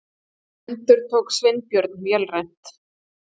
endurtók Sveinbjörn vélrænt.